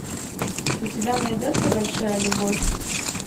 у тебя найдется большая любовь